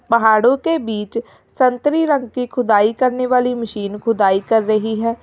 पहाड़ों के बीच संतरे रंग की खुदाई करने वाली मशीन खुदाई कर रही है।